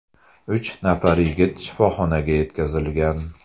Uch nafar yigit shifoxonaga yetkazilgan.